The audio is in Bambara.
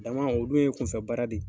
Dama o dun ye kunfɛbaara de ye.